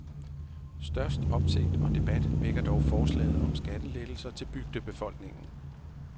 Størst opsigt og debat vækker dog forslaget om skattelettelser til bygdebefolkningen.